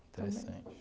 Interessante.